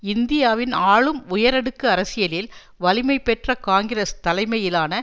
இந்தியாவின் ஆளும் உயரடுக்கு அரசியலில் வலிமை பெற்ற காங்கிரஸ் தலைமையிலான